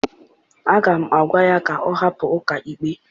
Aga m agwa ya ka ọ hapụ ọkaikpe!